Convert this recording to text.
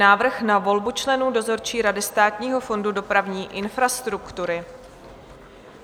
Návrh na volbu členů dozorčí rady Státního fondu dopravní infrastruktury